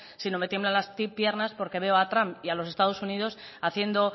sino me tiemblan las piernas porque veo a trump y a los estados unidos haciendo